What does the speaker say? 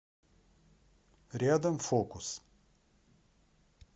рядом фокус